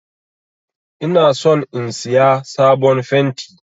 Ina son in Siya sabon fenti.